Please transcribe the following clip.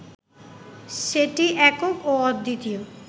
সেটি একক ও অদ্বিতীয়